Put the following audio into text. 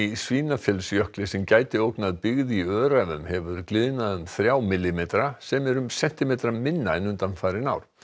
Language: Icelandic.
Svínafellsjökli sem gæti ógnað byggð í Öræfum hefur gliðnað um þrjá millimetra sem er um sentímetra minna en undanfarin ár